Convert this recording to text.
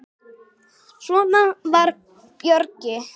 Svona var Bjöggi.